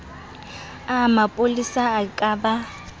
a bopolesa e ka ba